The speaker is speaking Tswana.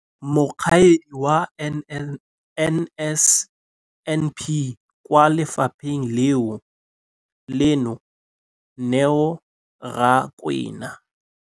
Mokaedi wa NSNP kwa lefapheng leno, Neo Rakwena.